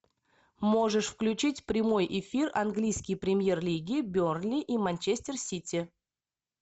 можешь включить прямой эфир английской премьер лиги бернли и манчестер сити